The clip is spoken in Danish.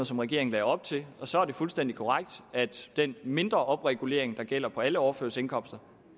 som regeringen lagde op til og så er det fuldstændig korrekt at den mindre opregulering der gælder for alle overførselsindkomster